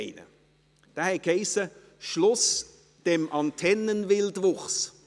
Dieser hatte den Titel «Schluss dem Antennenwildwuchs».